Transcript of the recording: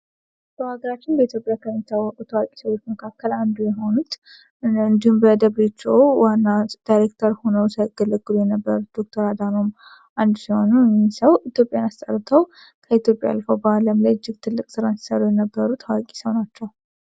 ዶክተር አድሃኖም ከኢትዮጵያ አልፎ በአለም ላይ እጅ ትልቅ ስራን ሲሰሩ የነበሩ ታዋቂ ሰው ናቸው።